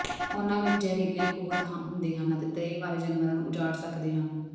ਉਨ੍ਹਾਂ ਵਿਚ ਜ਼ਹਿਰੀਲੇ ਖੂੰਹਦ ਹੁੰਦੇ ਹਨ ਅਤੇ ਤ੍ਰੇਹ ਵਾਲੇ ਜਾਨਵਰਾਂ ਨੂੰ ਉਜਾੜ ਸਕਦੇ ਹਨ